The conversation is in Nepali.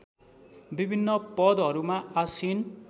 विभिन्न पदहरूमा आसीन